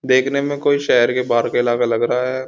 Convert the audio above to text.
देखने में कोई शहर के बाहर का इलाका लग रहा है।